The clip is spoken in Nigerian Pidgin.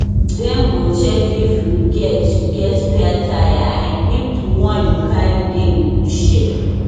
dem go check if you get you get spare tyre and if di one you carry dey in good shape